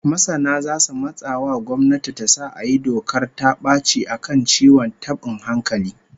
Masana zasu matsa wa gwamnati ta sa a yi dokar ta baci a kan ciwon tabin hankali